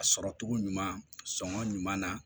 A sɔrɔ cogo ɲuman sɔngɔn ɲuman na